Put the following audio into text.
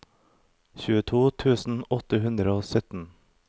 tjueto tusen åtte hundre og sytten